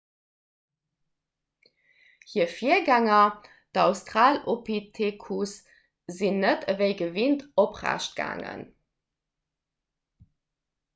hir virgänger d'australopithecus sinn net ewéi gewinnt oprecht gaangen